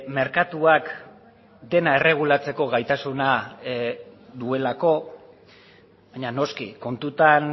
merkatuak dena erregulatzeko gaitasuna duelako baina noski kontutan